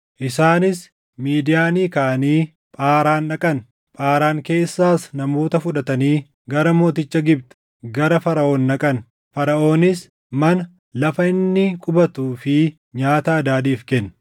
Isaanis Midiyaanii kaʼanii Phaaraan dhaqan. Phaaraan keessaas namoota fudhatanii gara mooticha Gibxi, gara Faraʼoon dhaqan; Faraʼoonis mana, lafa inni qubatuu fi nyaata Hadaadiif kenne.